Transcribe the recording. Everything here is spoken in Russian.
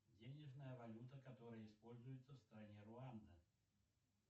денежная валюта которая используется в стране руанда